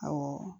Awɔ